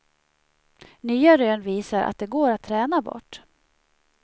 Nya rön visar att de går att träna bort.